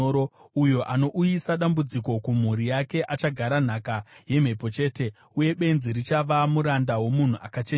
Uyo anouyisa dambudziko kumhuri yake achagara nhaka yemhepo chete, uye benzi richava muranda womunhu akachenjera.